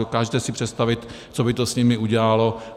Dokážete si představit, co by to s nimi udělalo?